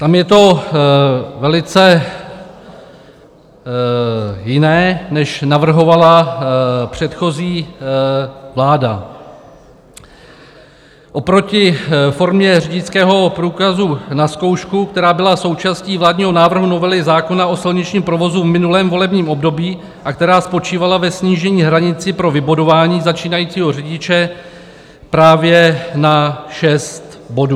Tam je to velice jiné, než navrhovala předchozí vláda oproti formě řidičského průkazu na zkoušku, která byla součástí vládního návrhu novely zákona o silničním provozu v minulém volebním období a která spočívala ve snížení hranice pro vybudování začínajícího řidiče právě na 6 bodů.